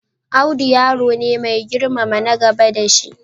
Audu yaro ne mai girmama na gaba da shi.